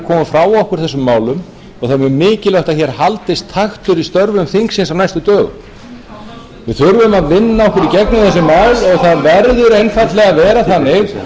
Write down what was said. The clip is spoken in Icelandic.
þeir á dagskrá sem óskuðu strax eftir að ræða um atkvæðagreiðsluna aðrir verða þá að taka til máls undir